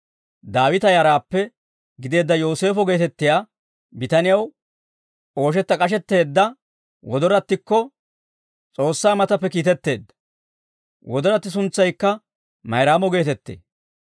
Daawita yaraappe gideedda Yooseefo geetettiyaa bitanew ooshetta k'ashetteedda wodorattikko S'oossaa matappe kiitetteedda; wodoratti suntsaykka Mayraamo geetettee.